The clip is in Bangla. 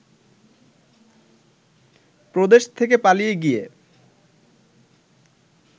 প্রদেশ থেকে পালিয়ে গিয়ে